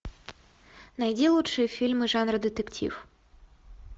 найди лучшие фильмы жанра детектив